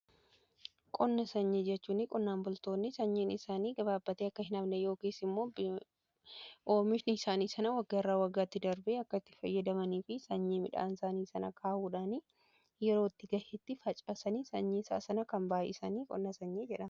Qonna sanyi jechuun qonnaan bultoonni sanyiin isaanii gabaabbatee akka hin hafne yookiin immoo oomishni isaanii waggaa irra waggaatti darbe akka itti fayyadamanii fi sanyii midhaan isaanii sana kaahuudhaan yeroo ga'eetti facaasanii sanyii isaa sana kan baay'isaan qonna sanyii jedhama.